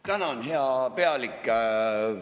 Tänan, hea pealik!